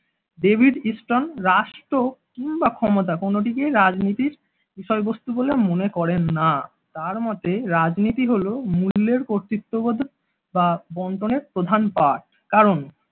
David Easton রাষ্ট্র কিংবা ক্ষমতা কোনোটিকেই রাজনীতির বিষয়বস্তু বলে মনে করেন না তার মতে রাজনীতি হলো মূল্যের কর্তৃত্ববোধে বা বন্টনের প্রধান পাঠ কারণ।